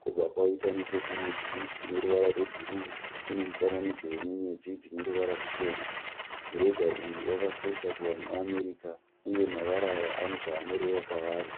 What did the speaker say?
Kwobva kwaita nechekurudyi kune ruvara rwebhuruu kune mufananidzo wenyenyedzi dzine ruvara ruchena. Mureza uyu wakakosha kuvanhu veAmerica uye mavara aya ane zvaanoreva kwavari.